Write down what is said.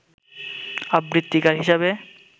আবৃত্তিকার হিসেবে